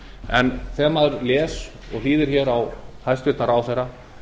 en þegar maður les ræðuna og hlýðir á hæstvirtan ráðherra